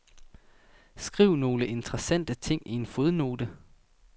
Skriv nogle interessante ting i en fodnote.